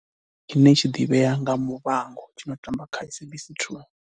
Tshine tshi ḓivhea nga Muvhango tshi no tamba kha SABC 2.